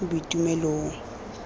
boitumelong